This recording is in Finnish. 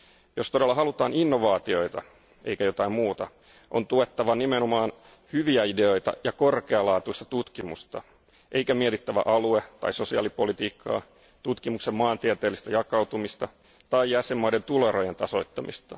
Jos todella halutaan innovaatioita, eikä jotain muuta, on tuettava nimenomaan hyviä ideoita ja korkealaatuista tutkimusta eikä mietittävä alue tai sosiaalipolitiikkaa, tutkimuksen maantieteellistä jakautumista tai jäsenvaltioiden tuloerojen tasoittamista.